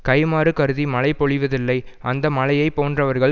கைம்மாறு கருதி மழை பொழிவதில்லை அந்த மழையைப் போன்றவர்கள்